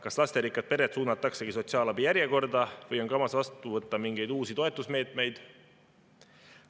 Kas lasterikkad pered suunataksegi sotsiaalabi järjekorda või on kavas vastu võtta mingeid uusi toetusmeetmeid?